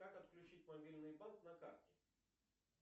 как отключить мобильный банк на карте